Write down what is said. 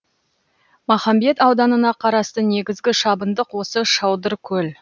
махамбет ауданына қарасты негізгі шабындық осы шодыркөл